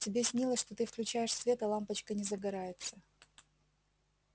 тебе снилось что ты включаешь свет а лампочка не загорается